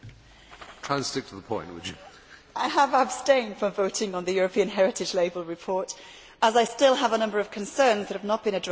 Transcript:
Mr President, I have abstained from voting on the European Heritage Label report, as I still have a number of concerns that have not been addressed from the first reading.